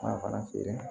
Ala fana feere